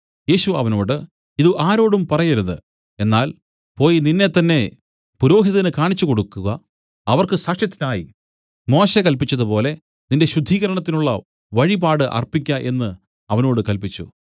യേശു അവനോട് ഇതു ആരോടും പറയരുത് എന്നാൽ പോയി നിന്നെത്തന്നെ പുരോഹിതന് കാണിച്ചു കൊടുക്കുക അവർക്ക് സാക്ഷ്യത്തിനായി മോശെ കല്പിച്ചതുപോലെ നിന്റെ ശുദ്ധീകരണത്തിനുള്ള വഴിപാട് അർപ്പിക്ക എന്നു അവനോട് കല്പിച്ചു